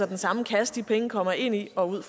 den samme kasse de penge kommer ind i og ud